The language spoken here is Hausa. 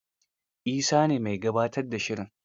Isa ne mai gabatar da shirin.